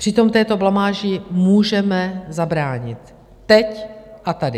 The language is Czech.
Přitom této blamáži můžeme zabránit teď a tady.